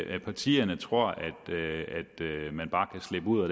at partierne tror at man bare kan slippe ud